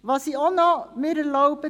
Was ich mir auch zu sagen erlaube: